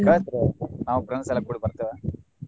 ಕಳಸ್ರಿ ನಾವು friends ಎಲ್ಲ ಕೂಡಿ ಬರ್ತೆವ.